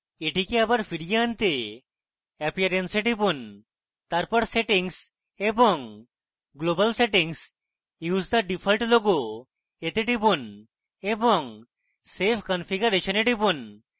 এটিকে আবার ফিরিয়ে আনতে appearance এ টিপুন তারপর settings এবং global settings use the default logo to টিপুন এবং save configuration এ টিপুন